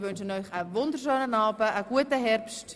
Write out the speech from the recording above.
Ich wünsche Ihnen einen schönen Abend und einen guten Herbst.